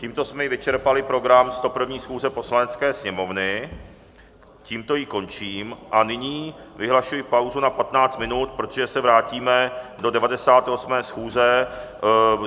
Tímto jsme i vyčerpali program 101. schůze Poslanecké sněmovny, tímto ji končím a nyní vyhlašuji pauzu na 15 minut, protože se vrátíme do 98. schůze.